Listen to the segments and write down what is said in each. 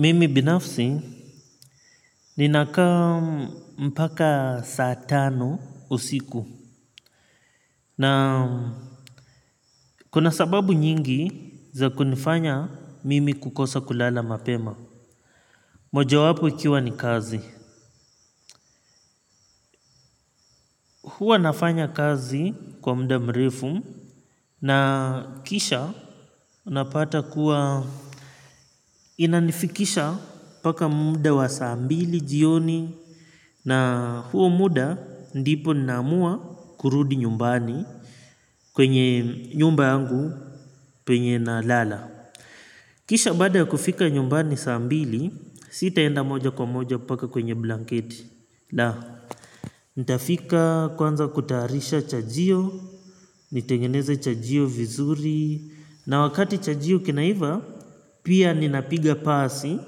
Mimi binafsi nina kaa mpaka saa tano usiku na kuna sababu nyingi za kunifanya mimi kukosa kulala mapema. Moja wapo ikiwa ni kazi. Hua nafanya kazi kwa mda mrefu na kisha unapata kuwa inanifikisha mpaka mda wa saa mbili jioni. Na huo muda ndipo naamua kurudi nyumbani kwenye nyumba yangu penye na lala. Kisha baada ya kufika nyumbani saa mbili, sitaenda moja kwa moja paka kwenye blanket. Na nitafika kwanza kutaharisha chajio, nitengeneza chajio vizuri. Na wakati chajio kinaiva, pia ninapiga pasi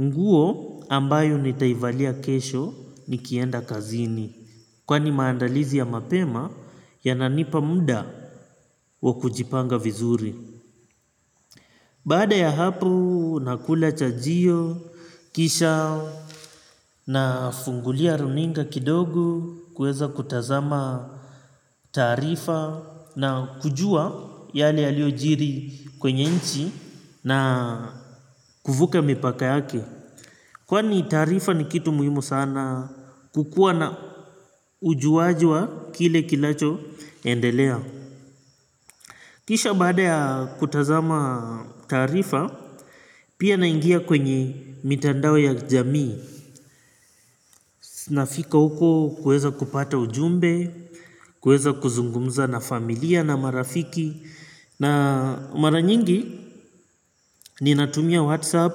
nguo ambayo nitaivalia kesho nikienda kazini. Kwani maandalizi ya mapema yananipa muda wa kujipanga vizuri. Baada ya hapo nakula chajio, kisha na fungulia runinga kidogo. Kuweza kutazama taarifa na kujua yale yaliojiri kwenye nchi na kuvuka mipaka yake. Kwani taarifa ni kitu muhimu sana kukua na ujuaji wa kile kilacho endelea. Kisha baada ya kutazama taarifa pia naingia kwenye mitandao ya jamii nafika huko kueza kupata ujumbe kueza kuzungumza na familia na marafiki na mara nyingi ninatumia whatsapp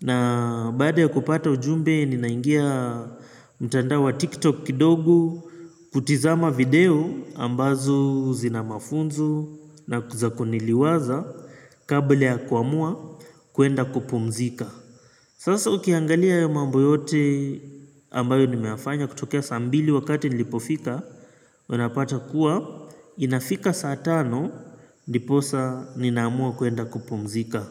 na baada ya kupata ujumbe ninaingia mtandao wa tiktok kidogo kutizama video ambazo zinamafunzo na za kuniliwaza kabla ya kuamua kuenda kupumzika. Sasa ukiangalia hayo mambo yote ambayo nimeyafanya kutokea saa mbili wakati nilipofika unapata kuwa inafika saa tano. Ndiposa ninaamua kwenda kupumzika.